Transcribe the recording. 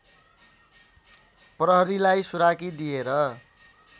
प्रहरीलाई सुराकी दिएर